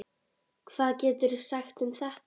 Hvað geturðu sagt um þetta?